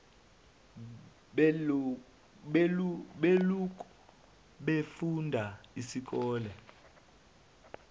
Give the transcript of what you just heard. beloku befunda isikole